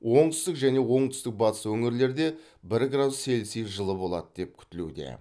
оңтүстік және оңтүстік батыс өңірлерде бір градус цельсий жылы болады деп күтілуде